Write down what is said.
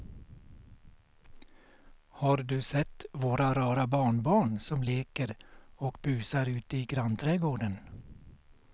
Har du sett våra rara barnbarn som leker och busar ute i grannträdgården!